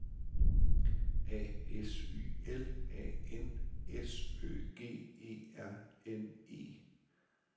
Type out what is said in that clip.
A S Y L A N S Ø G E R N E